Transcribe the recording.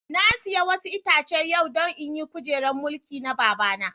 Na siya wasu Itace yau don in yi kujeran mulkin na babana.